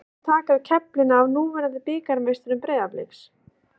Hver mun taka við keflinu af núverandi bikarmeisturum Breiðabliks?